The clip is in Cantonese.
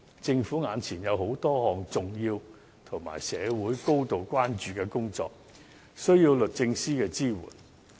政府目前有多項重要及社會高度關注的工作，需要律政司的支援。